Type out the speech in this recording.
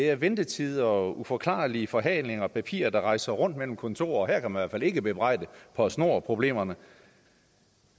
er ventetider og uforklarlige forhalinger og papirer der rejser rundt mellem kontorer her kan man fald ikke bebrejde postnord problemerne